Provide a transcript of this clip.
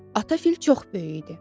Ata fil çox böyük idi.